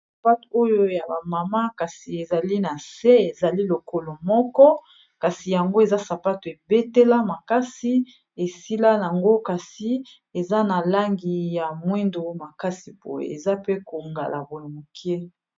sapato oyo ya bamama kasi ezali na se ezali lokolo moko kasi yango eza sapato ebetela makasi esila yango kasi eza na langi ya mwindo makasi boye eza pe kongala moke.